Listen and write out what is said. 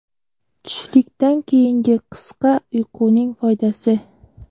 Tushlikdan keyingi qisqa uyquning foydasi.